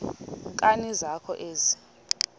nkani zakho ezi